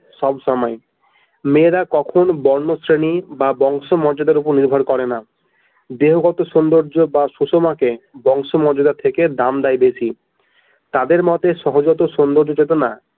সবসময় মেয়েরা কখনো বর্ণ শ্রেণী বা বংশ মর্যাদার উপর নির্ভর করে না দেহগত সৌন্দর্য বা সুষমাকে বংশ মর্যাদা থেকে দাম দেয় বেশি তাদের মতে সহজাত সুন্দরী চেতনা।